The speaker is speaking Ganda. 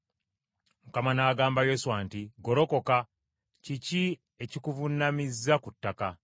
Mukama n’agamba Yoswa nti, “Golokoka. Kiki ekikuvuunamizza ku ttaka?